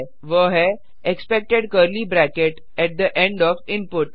वह है expected curly bracket at the end of input